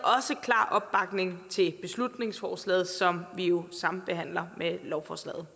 klar opbakning til beslutningsforslaget som vi jo sambehandler med lovforslaget